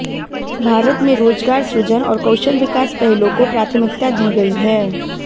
भारत में रोजगार सृजन और कौशल विकास पहलों को प्राथमिकता दी गई है